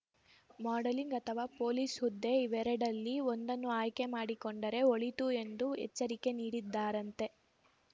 modelling ಅಥವಾ police ಹುದ್ದೆ ಇವೆರಡಲ್ಲಿ ಒಂದನ್ನು ಆಯ್ಕೆ ಮಾಡಿಕೊಂಡರೆ ಒಳಿತು ಎಂದು ಎಚ್ಚರಿಕೆ ನೀಡಿದ್ದಾರಂತೆ